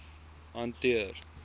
hof hanteer